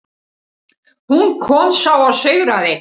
Hún kom, sá og sigraði.